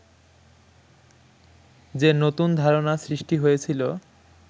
যে নতুন ধারণা সৃষ্টি হয়েছিল